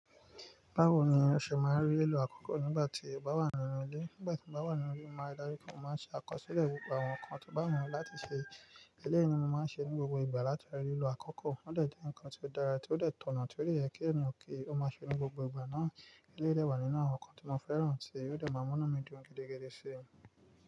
Báwo ni o ṣe máa rí lílò àkọ́kọ́ nígbà tí o bá wà nínú ilé? Nígbà tí mo bá wà nínú ilé, mo máa rí dájú pé mo máa ṣe àkọsílẹ̀ gbogbo àwọn nǹkan tí o bá wù mí láti ṣe. Eléyìí ni mo máa ń ṣe ní gbogbo ìgbà látara lílò àkọ́kọ́. Ó dẹ̀ jẹ́ ǹkan tí ó dára, tí ó dẹ̀ tọ̀nà, tí ó yẹ kí ènìyàn kí ó máa ṣe ní gbogbo ìgbà náà. Eléyìí dẹ̀ wà nínú àwọn nǹkan tí mo fẹ́ràn ti, ó dẹ̀ máa mú inu mi dùn gidigidi si.